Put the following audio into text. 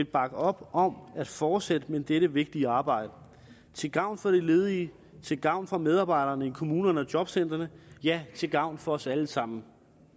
bakker op om at fortsætte med dette vigtige arbejde til gavn for de ledige til gavn for medarbejderne i kommunerne og jobcentrene ja til gavn for os alle sammen